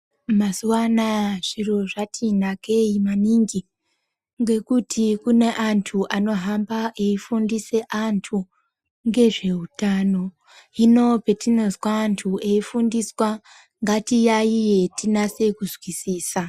Mazuwa anaya zviro zvati nakei, ngekuti kune antu anohamba eifundise antu ngezveutano. Hino petinozwa antu eifundiswa, ngatitaiye tinase kuzwisisa.